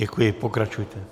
Děkuji, pokračujte.